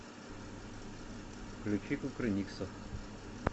включи кукрыниксов